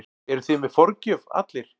Eruð þið með forgjöf allir?